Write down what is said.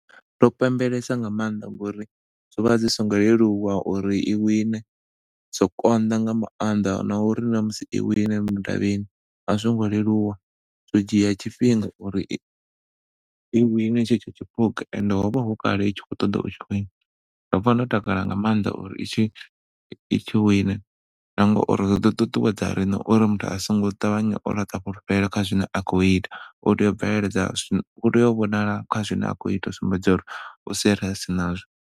Ndo pembelesa nga maanḓa ngauri zwo vha zwi songo leluwa uri i wine zwo konḓa nga maanḓa nauri na musi i wine mudavhini a zwo ngo leluwa zwo dzhia tshifhinga uri i wine ine tshetsho tshiphunga and ho vha hukale i tshi khou ṱoḓa u tshi wina nda pfa ndo takala nga maanḓa uri i tshi wine na ngauri zwi ḓo ṱuṱuwedza riṋe uri muthu asongo ṱavhanya o laṱa fhulufhelo kha zwine a khou ita. U tea u bveledza, u tea u vhonala kha zwine a khou ita u sumbedza uri u serious nazwo.